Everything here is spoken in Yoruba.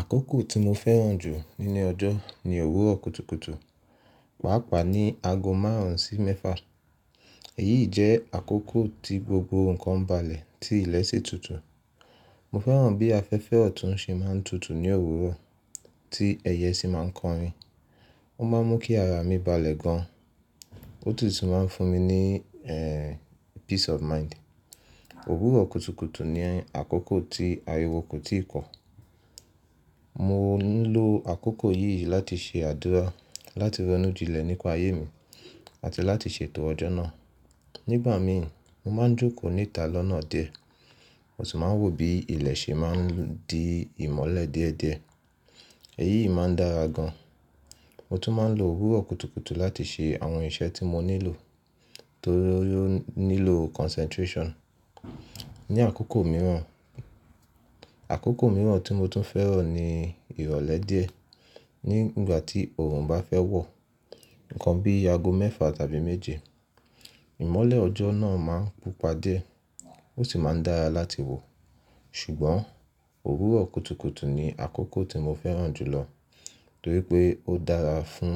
Àkókò tí mo fẹ́ràn jù nínú ọjọ́ ni òwúrọ̀ kùtùkùtù, pàápàá ní ago márùnsí mẹ́fà. Èyíi jẹ́ àkókò tí gbogbo nǹkan balẹ̀, tí ilẹ̀ sì tutù. Mo fẹ́ràn bi afẹ́fẹ́ oun tun se ma n tutu ni òwúrọ̀ ti eye si ma n kọrin. Ó máa ń mú kí ara mi balẹ̀ gan-an, ó tun sì máa ń fún mi ní peace of mind. Òwúrọ̀ kùtùkùtù ni àkókò tí ariwo kò tíì pọ́. Mo ń lo àkókò yìí láti ṣe àdúrà, láti rọ́nú jinlẹ̀ nípa ayé mi àti láti ṣètò ọjọ́ náà. Nigbami mo maa n joko ni ita lọ́nà díẹ̀ mo si maa n wo bi ile se ma n di imole díẹ̀ díẹ̀. Èyí máa ń dára gan-an. Mo tún máa ń lo òwúrọ̀ kùtùkùtù láti ṣe àwọn iṣẹ́ tí mo nílò tó nílò concentration. Ni àkókò mìíràn, àkókò mìíràn tí mo tún fẹ́ràn ni ìrọ̀lẹ́ díẹ̀. Ní ìgbà tí oòrùn bá fẹ́ wọ̀, nǹkan bí ago mẹ́fà tàbí méje, ìmọ́lẹ̀ ọjọ́ náà máa ń púpà díẹ̀ ó sì máa ń dára láti wò. Ṣùgbọ́n òwúrọ̀ kùtùkùtù ni àkókò tí mo fẹ́ràn jù lọ torí pé ó dára fún